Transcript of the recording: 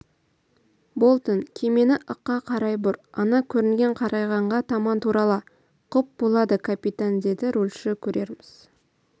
болтон кемені ыққа қарай бұр ана көрінген қарайғанға таман турала құп болады капитан деді рульші көрерміз